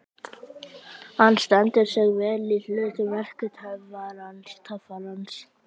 Hann stendur sig vel í hlut verki töffarans.